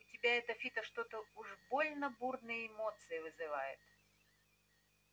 у тебя это фидо что-то уж больно бурные эмоции вызывает